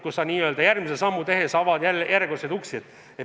Ühte sammu tehes avad aina uusi uksi.